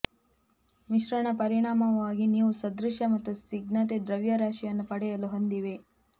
ಮಿಶ್ರಣ ಪರಿಣಾಮವಾಗಿ ನೀವು ಸದೃಶ ಮತ್ತು ಸ್ನಿಗ್ಧತೆ ದ್ರವ್ಯರಾಶಿಯನ್ನು ಪಡೆಯಲು ಹೊಂದಿವೆ